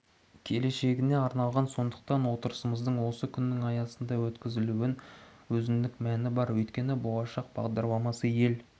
келешегіне арналған сондықтан отырысымыздың осы күннің аясында өткізілуінің өзіндік мәні бар өйткені болашақ бағдарламасы ел